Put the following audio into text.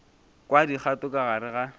kwa dikgato ka gare ga